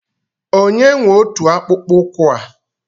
Onye nwe ọtu akpụkpọ ụkwụ a?